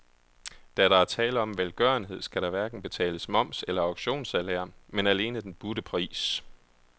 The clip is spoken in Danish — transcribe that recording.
Da der er tale om velgørenhed, skal der hverken betales moms eller auktionssalær, men alene den budte pris.